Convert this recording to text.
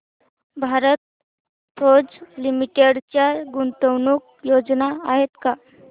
Bharat Forge Limited च्या गुंतवणूक योजना आहेत का